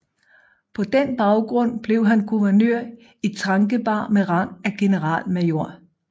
På den baggrund blev han guvernør i Trankebar med rang af generalmajor